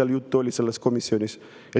komisjonis juttu on, ei laekuks mitte kuskile.